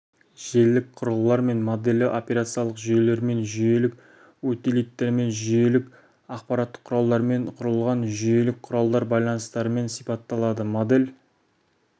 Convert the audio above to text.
желілік құрылғылармен моделі операциялық жүйелермен жүйелік утилиттермен жүйелік аппараттық құралдармен құрылған жүйелік құралдар байланыстарымен сипатталады модель